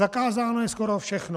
Zakázáno je skoro všechno.